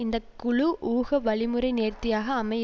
இந்த குழு ஊக வழிமுறை நேர்த்தியாக அமைய